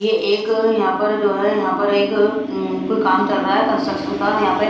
ये एक यहां पर जो है यहां पर एक कोई काम चल रहा है कंस्ट्रक्शन का यहां पे--